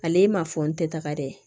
Ale m'a fɔ n tɛ taga dɛ